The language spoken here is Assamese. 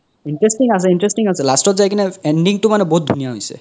interesting আছে interesting আছে last ত যাই কিনে ending তো মানে বহুত ধুনিয়া হৈছে